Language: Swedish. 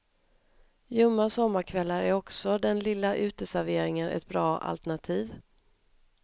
Ljumma sommarkvällar är också den lilla uteserveringen ett bra alternativ.